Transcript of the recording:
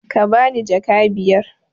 Ka bani jaka biyar!